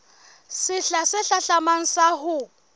sehla se hlahlamang sa ho